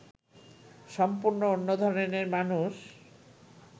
সম্পূর্ণ অন্য ধরনের মানুষ